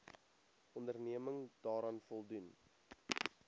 onderneming daaraan voldoen